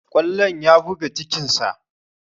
Kwallon ya buga cikin sa